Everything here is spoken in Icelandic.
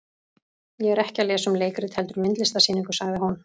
Ég er ekki að lesa um leikrit heldur myndlistarsýningu, sagði hún.